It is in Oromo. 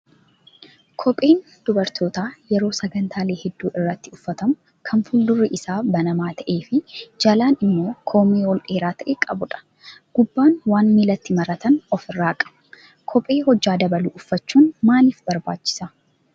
Kopheen dubarootaa yeroo sagantaalee hedduu irratti uffatamu kan fuuldurri isaa banamaa ta'ee fi jalaan immoo koomee ol dheeraa ta'e qabudha. Gubbaan waan miilatti maratan ofirraa qaba. Kophee hojjaa dabalu uffachuun maaliif barbaachisaa?